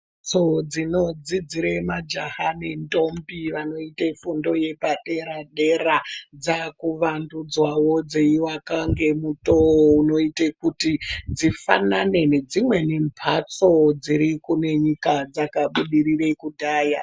Mbhatso dzinodzidzire majaha nentombi vanoite fundo yepadera-dera dzaakuvandudzwawo dzeivakwa ngemutoo unoite kuti dzifanane nedzimweni mbhatso dziri kune nyika dzakabudirira kudhaya.